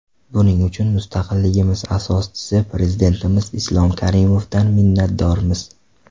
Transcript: Buning uchun mustaqilligimiz asoschisi Prezidentimiz Islom Karimovdan minnatdormiz.